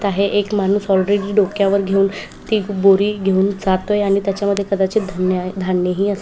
आहे एक माणूस ऑलरेडी डोक्यावर घेऊन ती बोरी घेऊन जातोय आणि त्याचे मध्ये कदाचित धान्य आहे धान्यही असू--